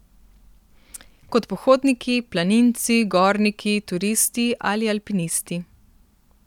Kot pohodniki, planinci, gorniki, turisti ali alpinisti.